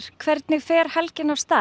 hvernig fer helgin af stað